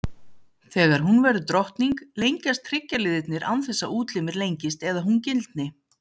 Þegar hún verður drottning, lengjast hryggjarliðirnir án þess að útlimir lengist eða hún gildni.